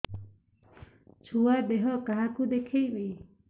ଛୁଆ ଦେହ କାହାକୁ ଦେଖେଇବି